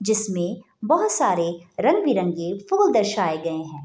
जिसमें बहोत सारे रंग-बिरंगे फूल दर्शाये गए हैं।